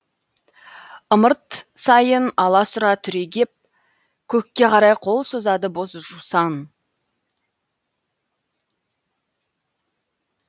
ымырт сайын аласұра түрегеп көкке қарай қол созады боз жусан